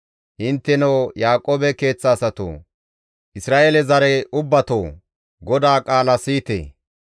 Intteno Yaaqoobe keeththa asatoo! Isra7eele zare ubbatoo! GODAA qaala siyite!